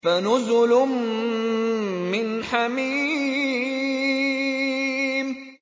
فَنُزُلٌ مِّنْ حَمِيمٍ